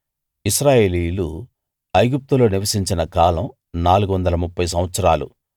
ఇశ్రాయేలీయులు ఐగుప్తులో నివసించిన కాలం 430 సంవత్సరాలు